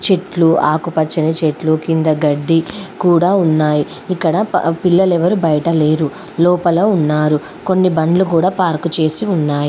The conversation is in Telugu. చెట్లు ఆకు పచ్చని చెట్లు కింద గడ్డి కూడా ఉన్నాయి. ఇక్కడ పిల్లలు ఎవరు బయట లేరు లోపల ఉన్నారు. కొన్ని బండ్లు కూడా పార్క్ చేసి ఉన్నాయి.